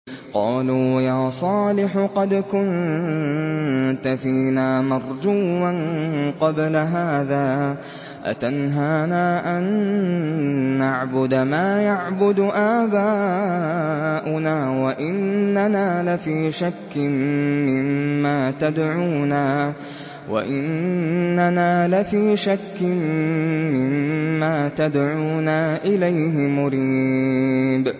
قَالُوا يَا صَالِحُ قَدْ كُنتَ فِينَا مَرْجُوًّا قَبْلَ هَٰذَا ۖ أَتَنْهَانَا أَن نَّعْبُدَ مَا يَعْبُدُ آبَاؤُنَا وَإِنَّنَا لَفِي شَكٍّ مِّمَّا تَدْعُونَا إِلَيْهِ مُرِيبٍ